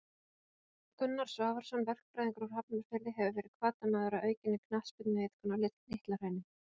Gunnar Svavarsson, verkfræðingur úr Hafnarfirði hefur verið hvatamaður að aukinni knattspyrnuiðkun á Litla Hrauni.